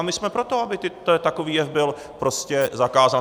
A my jsme pro to, aby takový jev byl prostě zakázán.